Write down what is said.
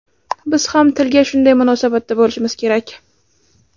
Biz ham tilga shunday munosabatda bo‘lishimiz kerak.